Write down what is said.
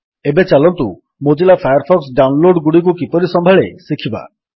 ଏବେ ଚାଲନ୍ତୁ Mozilla Firefox ଡାଉନଲୋଡଗୁଡ଼ିକୁ କିପରି ସମ୍ଭାଳେ ଶିଖିବା